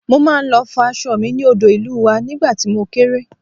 Mo máa ń lọ fọ aṣọ mi ní odò ìlú wa nígbà tí mo kéré